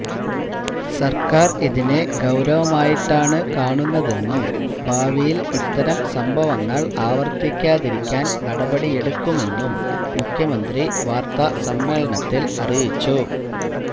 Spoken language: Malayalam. സര്ക്കാര് ഇതിനെ ഗൌരവമായിട്ടാണ് കാണുന്നതെന്നും ഭാവിയില് ഇത്തരം സംഭവങ്ങള് ആവര്ത്തിക്കാതിരിക്കാന് നടപടിയെടുക്കുമെന്നും മുഖ്യമന്ത്രി വാര്ത്താസമ്മേളനത്തില് അറിയിച്ചു